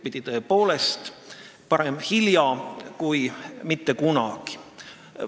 Aga tõepoolest, parem hilja kui mitte kunagi.